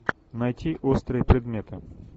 найти острые предметы